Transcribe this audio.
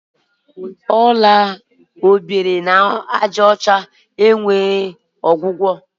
Ọrịa obirinajaọcha enweghị ọgwụgwọ.